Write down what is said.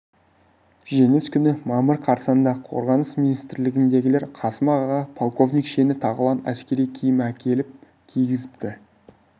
жеңіс күні мамыр қарсаңында қорғаныс министрлігіндегілер қасым ағаға полковник шені тағылған әскери киім әкеліп кигізіпті